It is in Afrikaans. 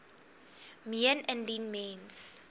meen indien mens